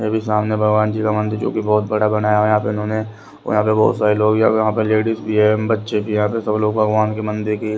सामने भगवान जी का मंदिर जो कि बहुत बड़ा बनाया उन्होंने यहां पे बहुत सारे लोग यहां पर लेडीज भी है बच्चे भी है सब लोग भगवान के मंदिर के --